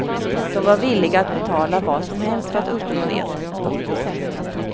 De var villiga att betala vad som helst för att uppnå det. punkt